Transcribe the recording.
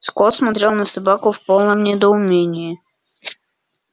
скотт смотрел на собаку в полном недоумении